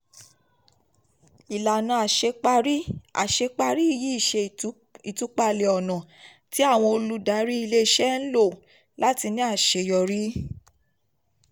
ìlànà àṣeparí: um àṣeparí um yìí ṣe ìtúpalẹ̀ ọ̀nà tí àwọn ólùdarí ilé-iṣẹ́ ń lò um láti ní àṣeyọrí. láti ní àṣeyọrí.